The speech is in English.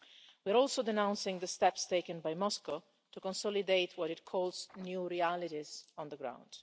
We are also denouncing the steps taken by Moscow to consolidate what it calls new realities on the ground.